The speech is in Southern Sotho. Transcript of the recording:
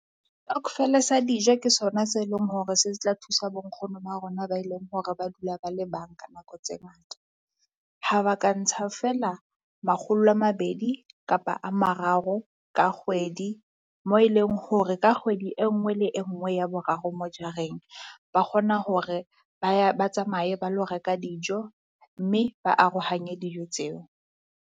sa dijo ke sona se leng hore se tla thusa bo nkgono ba rona ba e leng hore ba dula ba le banka nako tse ngata. Ha ba ka ntsha feela makgolo a mabedi kapa a mararo ka kgwedi, moo e leng hore ka kgwedi e nngwe le e nngwe ya boraro mo jareng, ba kgona hore ba ya ba tsamaye ba lo reka dijo mme ba arohanye dijo tseo.